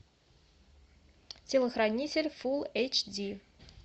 телохранитель фул эйч ди